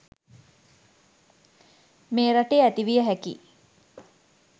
මේ රටේ ඇති විය හැකි යි.